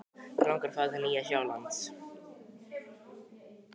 Mig langar að fara til Nýja-Sjálands.